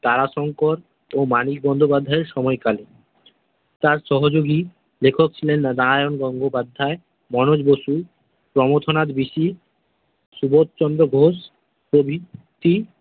তারাশঙ্কর ও মানিক বন্দ্যোপাধ্যায়ের সময়কালে। তার সহযোগী লেখক ছিলেন নারায়ণ গঙ্গোপাধ্যায়, মনোজ বসু, প্রমথনাথ ঋষি, সুবোধ চন্দ্র ঘোষ প্রভৃতি।